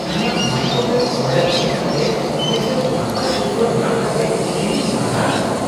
ᱤᱧᱟᱹᱜ microwave order ᱮᱢ ᱠᱟᱛᱮ ᱢᱤᱫᱴᱟᱝ ᱱᱟᱯᱟᱭ ᱥᱤᱨᱯᱟᱹ ᱧᱟᱢ ᱠᱟᱛᱮ ᱤᱧ ᱫᱩᱧ ᱦᱟᱦᱟᱲᱟᱜ ᱟᱠᱟᱱᱟ ᱾